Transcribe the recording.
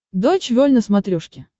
дойч вель на смотрешке